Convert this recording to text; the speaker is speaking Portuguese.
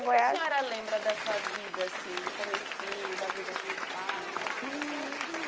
Goiás. O que a senhora lembra dessa vida assim, do comecinho da vida com os pais? E...